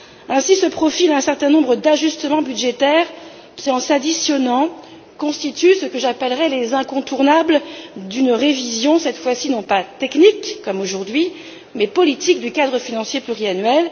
Ainsi se profilent un certain nombre d'ajustements budgétaires qui, en s'additionnant, constituent ce que j'appellerai les incontournables d'une révision cette fois ci non pas technique, comme c'est le cas aujourd'hui, mais politique, du cadre financier pluriannuel.